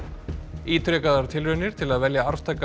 ítrekaðar tilraunir til að velja arftaka